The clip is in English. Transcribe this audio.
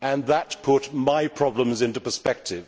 and that put my problems into perspective.